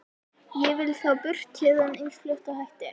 Ég vil þá burt héðan eins fljótt og hægt er.